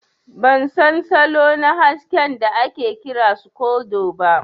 Ban san salo na haskin da ake kira scodo ba.